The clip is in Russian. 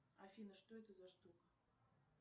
афина что это за штука